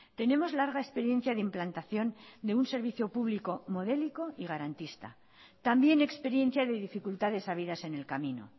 tenemos larga experiencia de implantación de un servicio público modélico y garantista también experiencia de dificultades habidas en el camino